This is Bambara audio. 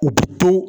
U bi to